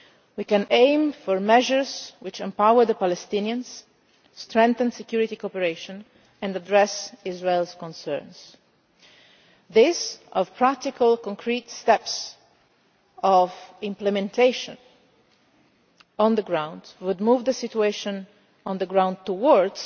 past. We can aim for measures which empower the Palestinians, strengthen security cooperation and address Israel's concerns. These are practical, concrete steps which, if implemented on the ground, would move the situation